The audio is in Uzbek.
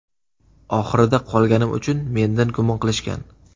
Oxirida qolganim uchun mendan gumon qilishgan.